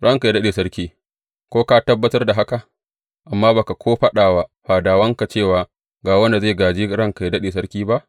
Ranka yă daɗe, sarki, ko ka tabbatar da haka, amma ba ka ko faɗa wa fadawanka, cewa ga wanda zai gāje Ranka yă daɗe, sarki ba?